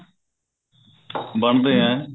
ਬਣਦੇ ਆ